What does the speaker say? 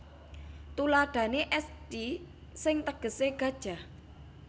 Thuladhane esthi sing tegese gajah